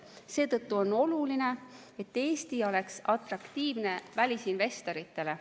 Seetõttu on oluline, et Eesti oleks atraktiivne välisinvestoritele.